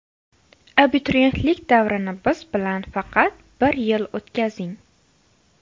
Abituriyentlik davrini biz bilan faqat bir yil o‘tkazing!!!